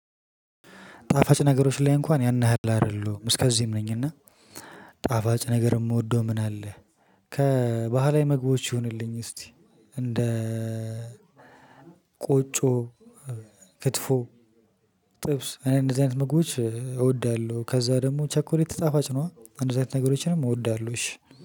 ጣፋጭ ነገሮች ላይ እንኳን ያን ያህል አይደሉም እስከዚህም ነኝ እና ጣፋጭ ነገር ምወደው ምን አለ? ከባህላዊ መግቦች ይሁንልኝ እስቲ እንደ ቆጮ ክትፎ ጥብስ እኔ እንደዚህ አይነት ምግቦች እወዳለሁ። ከዛ ደግሞ ቸኮሌት ታፋጭ ነው። እንደዚህ አይነት ነገሮችንም እወዳለሁ። እሺ